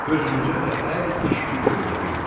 Özümüzə də hər iş-güc öyrədirdi.